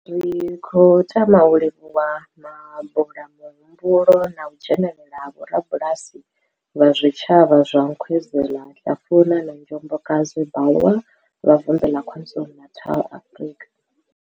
Ri khou tama u livhuwa mabula muhumbulo na u dzhenela ha vhorabulasi vha zwitshavha zwa Nkwezela, Hlafuna na Njobokazi, Bulwer, vha Vundu la KwaZulu-Natal, Afrika.